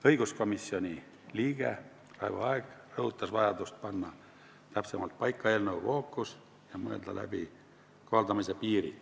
Õiguskomisjoni liige Raivo Aeg rõhutas vajadust panna täpsemalt paika eelnõu fookus ja mõelda läbi kohaldamise piir.